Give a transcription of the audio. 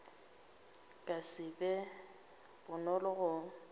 ka se be bonolo go